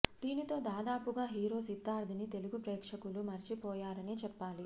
దీనితో దాదాపుగా హీరో సిద్ధార్థ్ ని తెలుగు ప్రేక్షకులు మరిచిపోయారనే చెప్పాలి